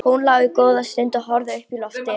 Hún lá góða stund og horfði upp í loftið.